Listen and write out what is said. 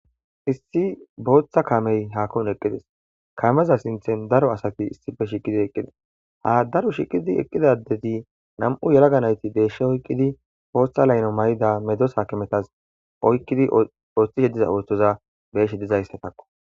Issi booththa kamey haakora eqqides kameza sinthen daro asati issipe shiqidi eqqides ha daro shiqidi eqqidadezi nam7u yalaga nayti deeshshe oyqqidi pooththa layno may7ida medosaakemetas oykqidi ooththishe diza ooththoza beeshe diza histetakko.